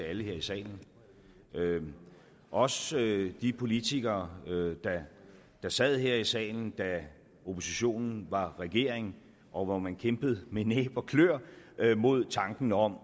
alle her i salen også de politikere der sad her i salen da oppositionen var regering og hvor man kæmpede med næb og kløer mod tanken om